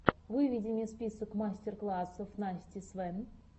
выведи мне список мастер классов насти свэн